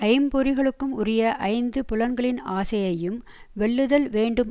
ஐம்பொறிகளுக்கும் உரிய ஐந்து புலன்களின் ஆசையையும் வெல்லுதல் வேண்டும்